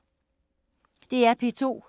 DR P2